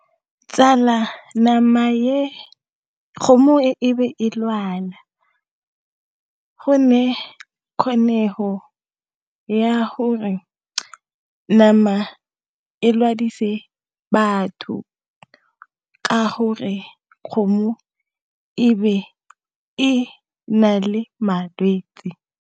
Tsala nama e, kgomo e be e lwala go nale kgonego ya gore nama e latedise batho ka gore kgomo ebe e na le malwetsi.